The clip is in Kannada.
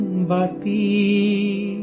ಹಮಾರೀ ಗುಡಿಯಾ ನೇ ಕುಮ್ಹಾರಾ ಸೇ ಪೂಛಾ